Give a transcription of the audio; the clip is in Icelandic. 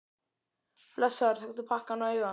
Blessaður, taktu pakkann og eigðu hann.